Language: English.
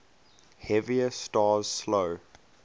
heavier stars slow